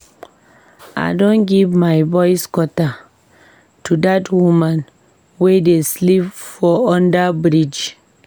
I don give my boys quarter to dat women we dey sleep for under-bridge.